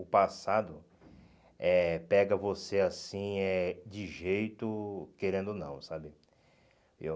O passado eh pega você assim eh, de jeito, querendo ou não, sabe? Eu